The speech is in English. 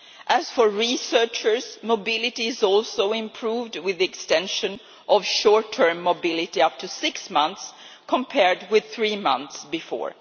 As for researchers, mobility is also improved with the extension of short term mobility up to six months, compared with three months before.